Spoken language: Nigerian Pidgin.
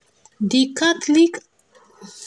the catholic